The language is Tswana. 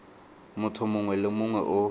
motho mongwe le mongwe o